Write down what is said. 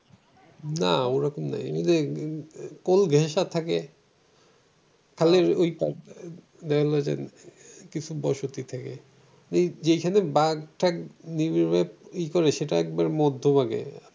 ওরকম নেই ওই যে থাকে কিছু বসতি থাকে যেখানে বাঘ টাক সেটা একদম মধ্যভাগে থাকে।